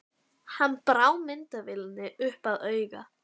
Hann brá myndavélinni upp að auga.